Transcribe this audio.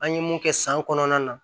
An ye mun kɛ san kɔnɔna na